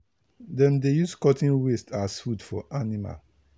na organic mulch cocoa farmer dey use take make soil hold water well.